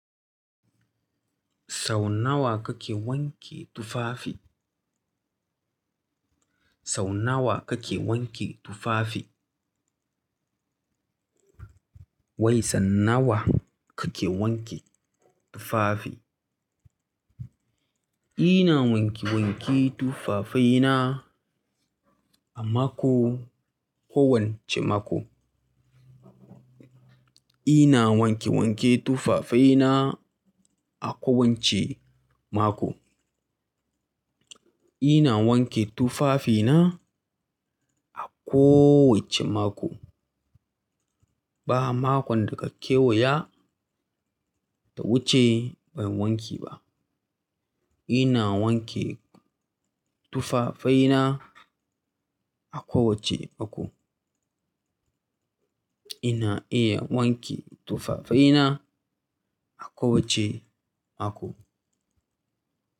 Sau nawa kake wanke tufafi? Sau nawa kake wanke tufafi? Wai sau nawa kake wanke tufafi? Ina wanke wanke tufafaina a mako, kowacce mako. Ina wanke wanke tufafaina a kowace mako. Ina wanke tufafina a kowace mako. Ba makon daka kewaya ta wuce ban wanke ba. Ina wanke tufafaina a kowace mako. Ina iya wanke tufafaina a kowace mako.